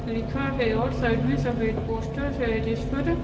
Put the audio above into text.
लिखा हैं और साइड में सफेद पोस्टर हैं जिस पर--